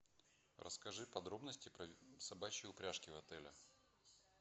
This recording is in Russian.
расскажи подробности про собачьи упряжки в отеле